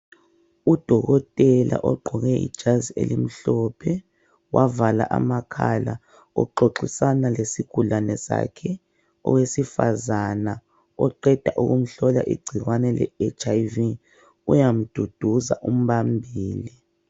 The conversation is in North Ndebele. Udokotela ogqoke ijazi elimhlophe wavala amakhala uxoxisana lesigulane sakhe. Owesifazana oqeda ukumhlola igcikwane le HIV uyamduduza, umbambile.